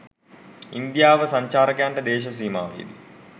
ඉන්දියාව සංචාරකයන්ට දේශ සීමාවේ දී